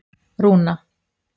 Rúna